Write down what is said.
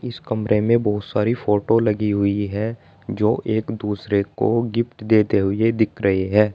इस कमरे में बहोत सारी फोटो लगी हुई है जो एक दूसरे को गिफ्ट देते हुए दिख रही है।